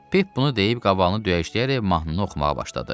Pip bunu deyib qavalını döyəcləyərək mahnını oxumağa başladı.